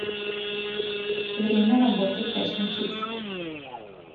время работы фэшн кидс